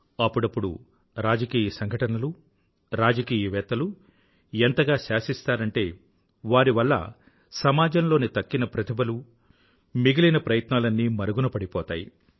అప్పుడప్పుడు రాజకీయ సంఘటనలు రాజకీయవేత్తలూ ఎంతగా శాసిస్తారంటే వారి వల్ల సమాజం లోని తక్కిన ప్రతిభలు మిగిలిన ప్రయత్నాలన్నీ మరుగునపడిపోతాయి